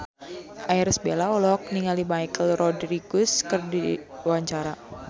Irish Bella olohok ningali Michelle Rodriguez keur diwawancara